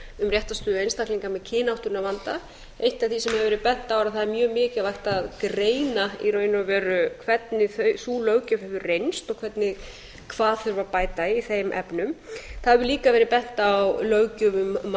um réttarstöðu einstaklinga með kynáttunarvanda eitt af því sem hefur verið bent á er að það er mjög mikilvægt að greina í raun og veru hvernig sú löggjöf hefur reynst og hvað þurfi að bæta í þeim efnum það hefur líka verið bent á löggjöf um mannanöfn og lög um þjóðskrá þannig